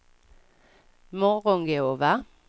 Morgongåva